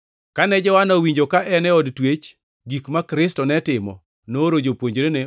Kane Johana owinjo ka en od twech gik ma Kristo ne timo, nooro jopuonjrene